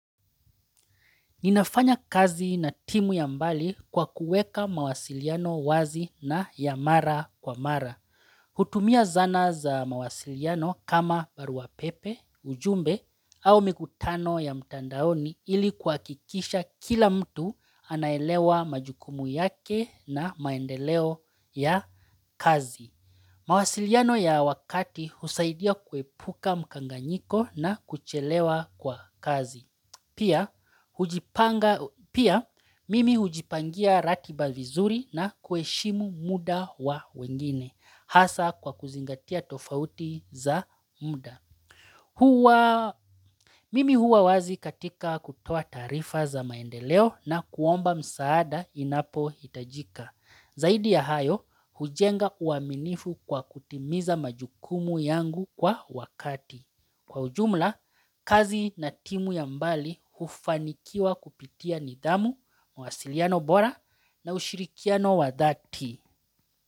Ninafanya kazi na timu ya mbali kwa kuweka mawasiliano wazi na ya mara kwa mara. Hutumia zana za mawasiliano kama baruapepe, ujumbe au mikutano ya mtandaoni ili kwa kuhakikisha kila mtu anaelewa majukumu yake na maendeleo ya kazi. Mawasiliano ya wakati husaidia kuepuka mkanganyiko na kuchelewa kwa kazi. Pia Pia, mimi hujipangia ratiba vizuri na kueshimu muda wa wengine, hasa kwa kuzingatia tofauti za muda. Mimi huwa wazi katika kutoa tarifa za maendeleo na kuomba msaada inapohitajika. Zaidi ya hayo, hujenga uwaminifu kwa kutimiza majukumu yangu kwa wakati. Kwa ujumla, kazi na timu ya mbali hufanikiwa kupitia nidhamu, mawasiliano bora na ushirikiano wadhati.